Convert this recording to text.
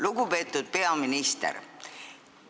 Lugupeetud peaminister!